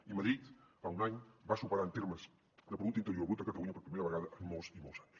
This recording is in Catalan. i madrid fa un any va superar en termes de producte interior brut catalunya per primera vegada en molts i molts anys